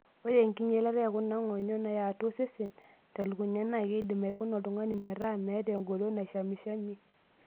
Ore enkinyalata e kuna nyong'o yaatua osesen telukunya naa keidim aikuna oltung'ani meta meeta engolon naishamishamie.